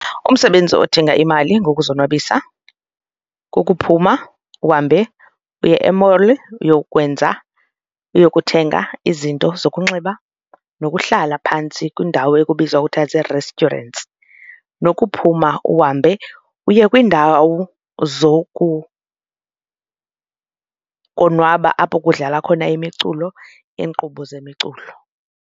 Umsebenzi odinga imali ngokuzonwabisa kukuphuma uhambe uye e-mall uyokwenza uyokuthenga izinto zokunxiba nokuhlala phantsi kwindawo ekubizwa ekuthiwa zii-restaurants nokuphuma uhambe uye kwiindawo konwaba apho kudlalwa khona imiculo iinkqubo zemiculo.